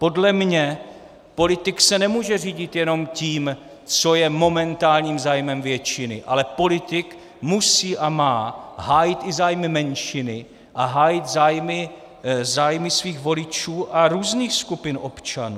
Podle mě politik se nemůže řídit jenom tím, co je momentálním zájmem většiny, ale politik musí a má hájit i zájmy menšiny a hájit zájmy svých voličů a různých skupin občanů.